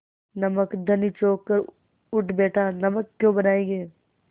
नमक धनी चौंक कर उठ बैठा नमक क्यों बनायेंगे